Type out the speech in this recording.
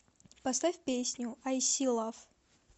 поставь песню ай си лав